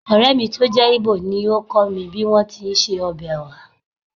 Ọ̀rẹ́ mi tó jẹ́ Igbo ni ó kọ́ mi bí wọ́n ti ń se ọbẹ̀ oha